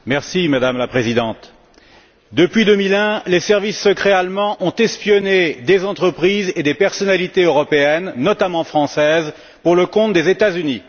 Madame la Présidente, depuis 2001, les services secrets allemands ont espionné des entreprises et des personnalités européennes, notamment françaises, pour le compte des États Unis.